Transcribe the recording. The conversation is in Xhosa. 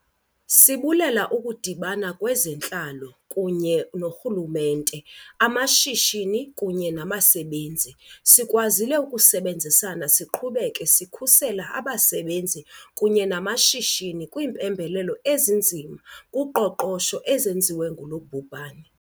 Sibulela ukudibana kweze ntlalo kuba urhulumente, amashishini kunye nabasebenzi, sikwazile ukusebenzisana siqhubeke sikhusela abasebenzi kunye namashishini kwiimpembelelo ezinzima kuqoqosho ezenziwe ngulo bhubhane.